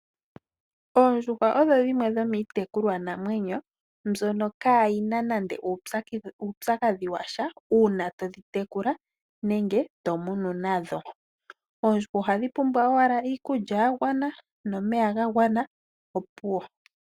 Oondjuhwa odho dhimwe dhomiitekulwa namwenyo mbyono kaayina nande uupyakadhi washa uuna todhi tekula nenge to munu nadho. Oondjuhwa ohadhi pumbwa owala iikulya ya gwana nomeya ga gwana, opuwo.